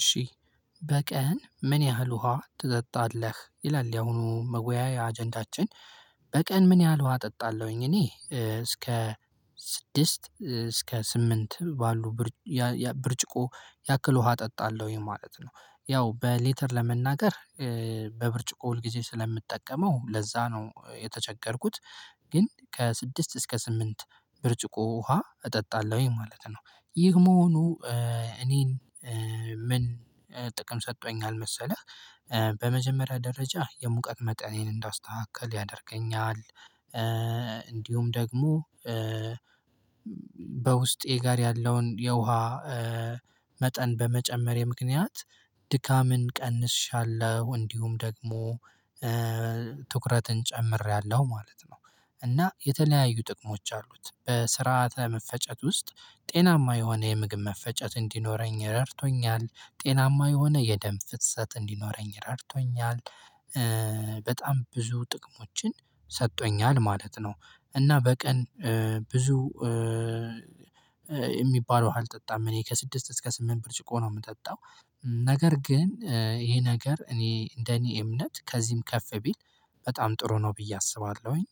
እሺ በቀን ምን ያህል ውሃ ትጠጣለህ? ይላል ያሁኑ መወያያ አጀንዳችን በቀን ምን ያህል ውሃ እጠጣለሁኝ እኔ እስከ ስድስት እስከ ስምንት ባሉ ብርጭቆ ያክል ውሃ እጠጣለሁኝ ማለት ነው። ያው በሌተር ለመናገር በብርጭቆ ሁልጊዜ ስለምጠቀመው ለዛ ነው የተቸገርኩት ግን ከስድስት እስከ ስምንት ብርጭቆ ውሃ እጠጣለሁኝ ማለት ነው። ይህ መሆኑ እኔን ምን ጥቅም ሰጥቶኛል መሰለህ በመጀመሪያ ደረጃ የሙቀት መጠኔን እንዳስተካክል ያደርገኛል እንዲሁም ደግሞ በውስጤ ጋር ያለውን የውሃ መጠን በመጨመሬ ምክንያት ድካምን ቀንሻለው። እንዲሁም ደግሞ ትኩረትን ጨምሬያለሁ ማለት ነው። እና የተለያዩ ጥቅሞች አሉት በስርዓተ መፈጨት ውስጥ ጤናማ የሆነ የምግብ መፈጨት እንዲኖረኝ ረድቶኛ፤ ጤናማ የሆነ የደም ፍሰት እንዲኖረኝ ረድቶኛል። በጣም ብዙ ጥቅሞችን ሰጥቶኛል ማለት ነው። እና በቀን ብዙ እሚባል ውሃ አልጠጣም እኔ ከስድስት እስከ ስምንት ብርጭቆ ነው ምጠጣው። ነገር ግን ይሄ ነገር እኔ እንደኔ እምነት ከዚህም ከፍ ቢል በጣም ጥሩ ነው ብዬ አስባለሁኝ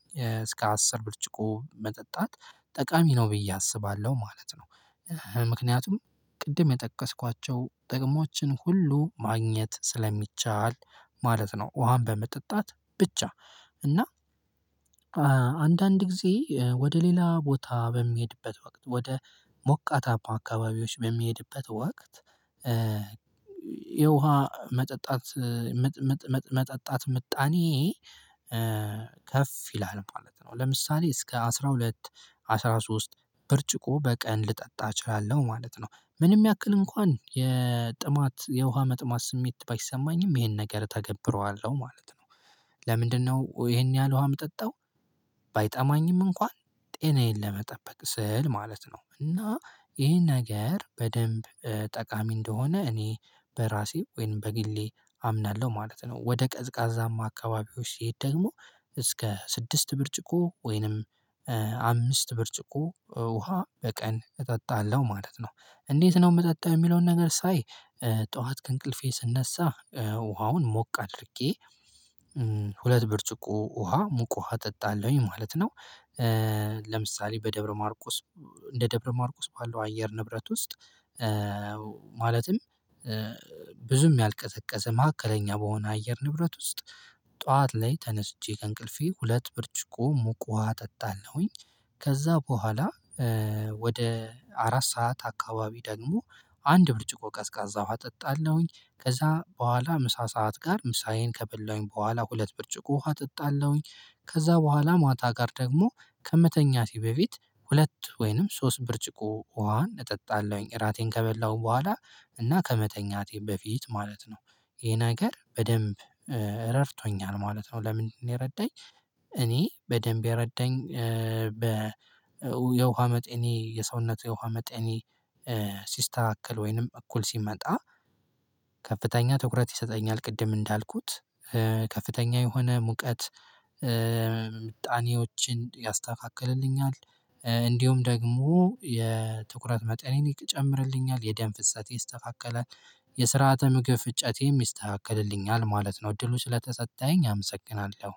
እስከ አስር ብርጭቆ መጠጣት ጠቃሚ ነው ብዬ አስባለሁ ማለት ነው። ምክንያቱም ቅድም የጠቀስኳቸው ጥቅሞችን ሁሉ ማግኘት ስለሚቻል ማለት ነው ውሃን በመጠጣት ብቻ። እና አንዳንድ ጊዜ ወደ ሌላ ቦታ በምሄድበት ወቅት ወደ ሞቃታማ አካባቢዎች በምሄድበት ወቅት የውሃ መጠጣት ምጣኔዬ ከፍ ይላል ማለት ነው። ለምሳሌ እስከ አስራ ሁለት አስራ ሶስት ብርጭቆ በቀን ልጠጣ እችላለሁ ማለት ነው። ምንም ያክል እንኳን የጥማት የውሃ መጥማት ስሜት ባይሰማኝም ይሄን ነገር ተገብረዋለሁ ማለት ነው። ለምንድነው ይሄን ያህል ውሃ ምጠጣው? ባይጠማኝም እንኳን ጤናዬን ለመጠበቅ ስል ማለት ነው እና ይሄን ነገር በደንብ ጠቃሚ እንደሆነ እኔ በራሴ ወይም በግሌ አምናለሁ ማለት ነው ወደ ቀዝቃዛማ አካባቢዎች ስሄድ ደግሞ እስከ ስድስት ብርጭቆ ወይንም አምስት ብርጭቆ ውሃ በቀን እጠጣለሁ ማለት ነው። እንዴት ነው ምጠጣው የሚለውን ነገር ሳይ ጠዋት ከእንቅልፌ ስነሳ ውሃውን ሞቅ አድርጌ ሁለት ብርጭቆ ውሃ ሙቅ ውሃ እጠጣለሁኝ ማለት ነው። ለምሳሌ በደብረ ማርቆስ እንደ ደብረ ማርቆስ ባለው አየር ንብረት ውስጥ ማለትም ብዙም ያልቀዘቀዘ ማዕከለኛ በሆነ አየር ንብረት ውስጥ ጠዋት ላይ ተነስቼ ከእንቅልፌ ሁለት ብርጭቆ ሙቅ ውሃ እጠጣለሁኝ። ከዛ በኋላ ወደ አራት ሰዓት አካባቢ ደግሞ አንድ ብርጭቆ ቀዝቃዛ ውሃ እጠጣለሁኝ። ከዛ በኋላ ምሳ ሰዓት ጋር ምሳዬን ከበላሁኝ በኋላ ሁለት ብርጭቆ ውሃ እጠጣለሁኝ ከዛ በኋላ ማታ ጋር ደግሞ ከመተኛቴ በፊት ሁለት ወይንም ሶስት ብርጭቆ ውሃ እጠጣለሁኝ እራቴን ከበላሁ በኋላ እና ከመተኛቴ በፊት ማለት ነው ይሄ ነገር በደንብ እረድቶኛል ማለት ነው ለምንድነው የረዳኝ እኔ በደንብ የረዳኝ በ የውሃ መጠኔ የሰውነት የውሃ መጠኔ ሲስተካከል ወይንም እኩል ሲመጣ ከፍተኛ ትኩረት ይሰጠኛል ቅድም እንዳልኩት ከፍተኛ የሆነ ሙቀት ምጣኔዎችን ያስተካክልልኛል፣ እንዲሁም ደግሞ የትኩረት መጠኔን ይጨምርልኛል፣ የደም ፍሰቴ ይስተካከላል፣ የስርዓተ ምግብ ፍጨቴም ይስተካከልልኛል ማለት ነው እድሉ ስለተሰጠኝ አመሰግናለሁ።